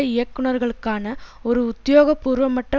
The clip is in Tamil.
இயக்குனர்களுக்கான ஒரு உத்தியோகபூர்வமற்ற